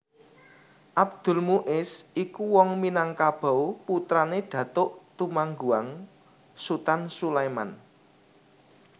Abdul Muis iku wong Minangkabau putrané Datuk Tumangguang Sutan Sulaiman